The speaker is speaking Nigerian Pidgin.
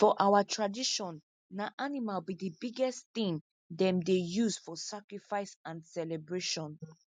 for our tradition na animal be the biggest thing them dey use for sacrifice and celebration